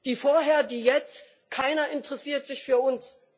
Die vorher, die jetzt keiner interessiert sich für uns.